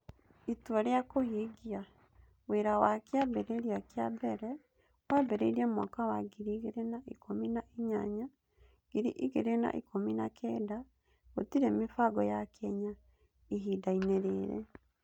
Itua rĩa kũhingia: Wĩra wa kĩambĩrĩria kĩa mbere wambĩrĩirie mwaka wa ngiri igĩrĩ na ikũmi na inyanya-ngiri igĩrĩ na ikũmi na kenda; gũtirĩ mĩbango ya Kenya ihindainĩ rĩrĩ.